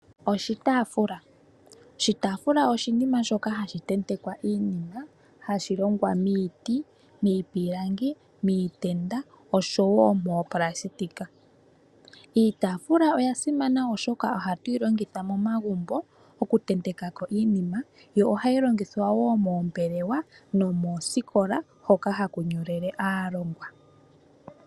Oshitafula, oshitafula oshinima shoka hashi tendekwa iinima hashi longwa miiti, miipilangi, miitenda oshowo moonayilona. Iitafula oya simana oshoka oha tuyi longitha momagumbo oku tentekako iinima, yo ohayi longithwa woo moombelewa nomoosikola hoka haku nyolele aalongwa.